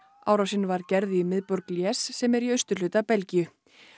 árásin var gerð í miðborg Liege sem er í austurhluta Belgíu